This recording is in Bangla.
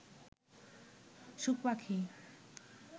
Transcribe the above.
সুখ পাখি